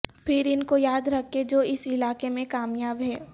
پھر ان کو یاد رکھیں جو اس علاقے میں کامیاب ہیں